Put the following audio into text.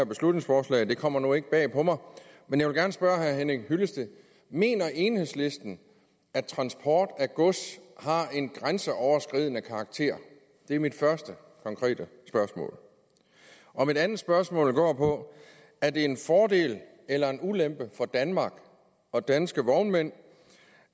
beslutningsforslag det kommer nu ikke bag på mig men jeg vil gerne spørge herre henning hyllested mener enhedslisten at transport af gods har en grænseoverskridende karakter det er mit første konkrete spørgsmål mit andet spørgsmål går på er det en fordel eller en ulempe for danmark og danske vognmænd